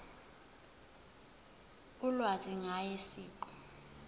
ulwazi ngaye siqu